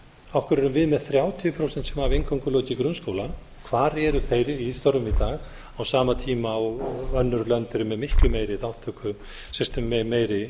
erum við með þrjátíu prósent sem hafa eingöngu lokið grunnskóla hvar eru þeir í störfum í dag á sama tíma og önnur lönd eru með miklu meiri